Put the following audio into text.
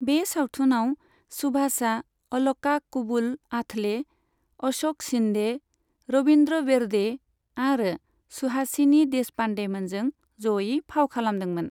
बे सावथुनाव सुभाषआ अलका कुबल आठले, अश'क शिन्दे, रवीन्द्र बेर्डे आरो सुहासिनी देशपान्डेमोनजों ज'यै फाव खालामदोंमोन।